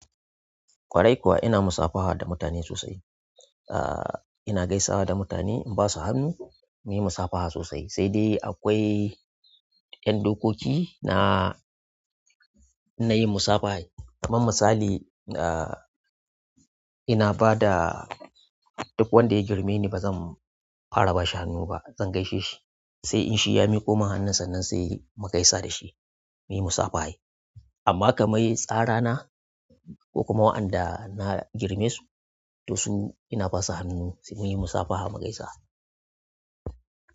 Ƙwarai kuwa ina musafaha da mutane sosai. Ah, ina gaisawa da mutane in ba su hannu muyi musafaha sosai. Sai dai akwai ƴan dokoki na yin musabahar, kaman misali ah, ina bada duk wanda ya girme ni ba zan fara bashi hannu ba, zan gaishe shi. Sai in shi ya miƙo min hannun sannan sai mu gaisa da shi, muyi musafaha. Amma kamar tsara na ko kuma waɗanda na girme su, to su ina basu hannu sai muyi musafaha mu gaisa.